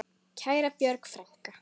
Kæra Björg frænka.